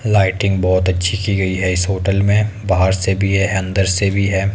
Lighting बहोत अच्छी की गई है इस होटल में बाहर से भी है अंदर से भी है।